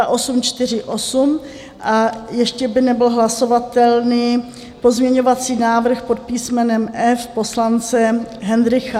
A ještě by nebyl hlasovatelný pozměňovací návrh pod písmenem F poslance Hendrycha.